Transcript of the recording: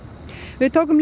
við tókum